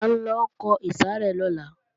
A ńlọ kọ ìsàrẹ́ lọ́la